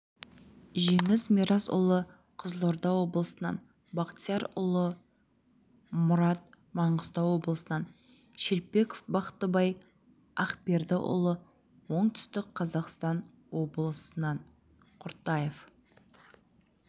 жеңіс мирасұлы қызылорда облысынан бақтиярұлы мұрат маңғыстау облысынан шелпеков бақтыбай ақбердіұлы оңтүстік қазақстан облысынан құртаев